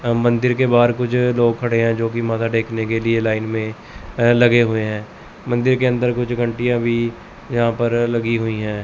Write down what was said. और मंदिर के बाहर कुछ लोग खड़े हैं जो कि माथा टेकने के लिए लाइन में अह लगे हुए हैं मंदिर के अंदर कुछ घंटियां भी यहां पर लगी हुई हैं।